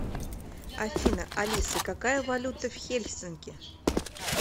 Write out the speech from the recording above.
афина алиса какая валюта в хельсинки